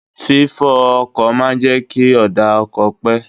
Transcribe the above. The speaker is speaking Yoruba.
Fi fọ ọkọ̀ máa ń jẹ́ kí ọ̀dà ọkọ̀ pé.